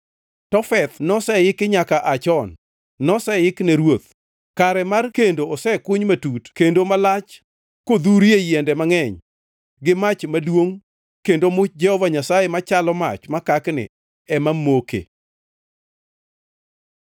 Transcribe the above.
Tofeth noseiki nyaka aa chon; noseik ne ruoth. Kare mar kendo osekuny matut kendo malach, kodhurie yiende mangʼeny gi mach maduongʼ; kendo much Jehova Nyasaye, machalo mach makakni ema moke.